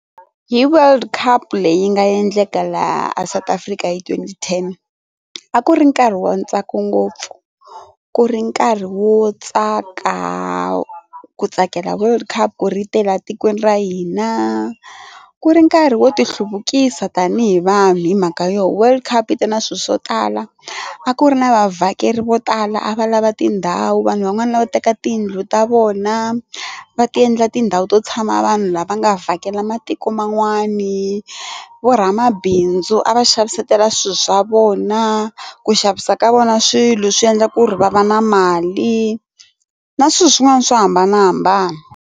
Hi World Cup leyi nga endleka laha a South Africa hi twenty ten a ku ri nkarhi wa ntsako ngopfu ku ri nkarhi wo tsaka ku tsakela world cup ri tele a tikweni ra hina ku ri ku nkarhi wo ti hluvukisa tanihi vanhu hi mhaka yo world cup yi te na swilo swo tala a ku ri na va vhakeri vo tala a va lava tindhawu vanhu van'wana lava teka tiyindlu ta vona va ti endla tindhawu to tshama vanhu lava nga vhakela matiko man'wani vo ra mabindzu a va xavisela swilo swa vona ku xavisa ka vona swilo swi endla ku ri va va na mali na swilo swin'wana swo hambanahambana.